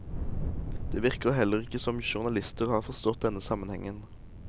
Det virker heller ikke som om journalisten har forstått denne sammenhengen.